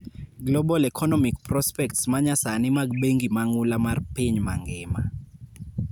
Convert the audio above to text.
Global economic prospects manyasani mag bengi mang'ula mar piny mangima.